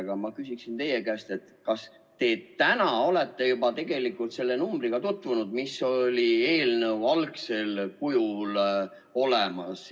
Aga ma küsin teie käest: kas te täna olete juba tutvunud selle numbriga, mis oli eelnõus algsel kujul olemas?